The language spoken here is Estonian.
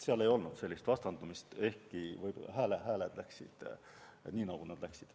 Seal ei olnud sellist vastandumist, ehkki hääled läksid nii, nagu nad läksid.